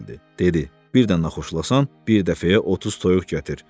Dedi: Birdən naxoşlasan, bir dəfəyə 30 toyuq gətir.